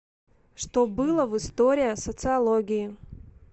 что было в история социологии